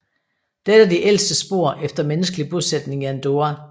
Dette er de ældste spor efter menneskelig bosætning i Andorra